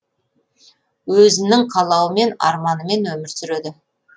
өзінің қалауымен арманымен өмір сүреді